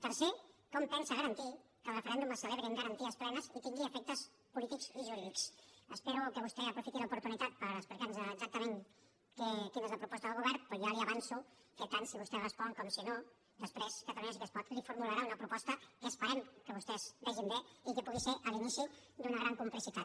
tercer com pensa garantir que el referèndum es celebri amb garanties plenes i tingui efectes polítics i jurídics espero que vostè aprofiti l’oportunitat per explicar nos exactament quina és la proposta del govern però ja li avanço que tant si vostè respon com si no després catalunya sí que es pot li formularà una proposta que esperem que vostès vegin bé i que pugui ser l’inici d’una gran complicitat